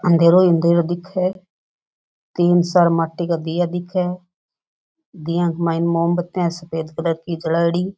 अंधेरो ही अंधेरो दिखे है तीन चार माटी का दिया दिखे दिया का माईन मोमबत्तीया है सफ़ेद कलर की जलाई डी।